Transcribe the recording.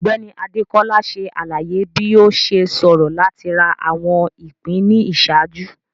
Ọgbẹni Adekola ṣe alaye bi o ṣe ṣoro lati ra awọn ipin ni iṣaaju.